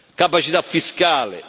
capacità fiscale